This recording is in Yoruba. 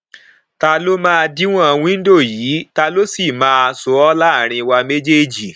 ta ló máa díwòn wíńdò yìí ta ló sì máa ṣó ọ láàárín wa méjèèjì